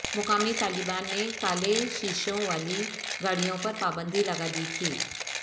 مقامی طالبان نے کالے شیشوں والی گاڑیوں پر پابندی لگا دی تھی